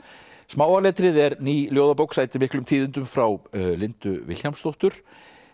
smáa letrið er ný ljóðabók sætir miklum tíðindum frá Lindu Vilhjálmsdóttur